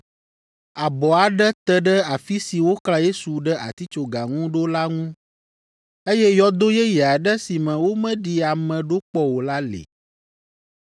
Abɔ aɖe te ɖe afi si woklã Yesu ɖe atitsoga ŋu ɖo la ŋu, eye yɔdo yeye aɖe si me womeɖi ame ɖo kpɔ o la li.